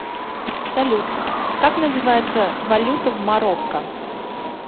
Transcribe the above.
салют как называется валюта в марокко